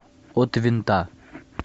от винта